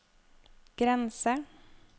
grense